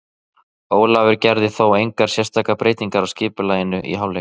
Ólafur gerði þó engar sérstakar breytingar á skipulaginu í hálfleik.